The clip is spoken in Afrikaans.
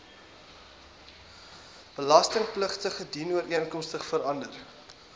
belastingpligtige dienooreenkomstig verander